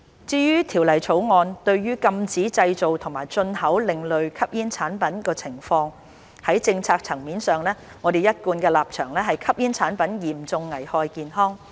至於《條例草案》禁止製造及進口另類吸煙產品，在政策層面上，我們的一貫立場是吸煙產品嚴重危害公眾健康。